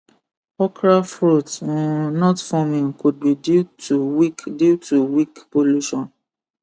okra fruit um not forming could be due to weak due to weak pollution